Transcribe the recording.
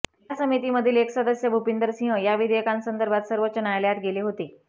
या समितीमधील एक सदस्य भूपिंदर सिंह या विधेयकांसंदर्भात सर्वोच्च न्यायालयात गेले होते